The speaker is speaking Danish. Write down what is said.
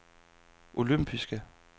olympiske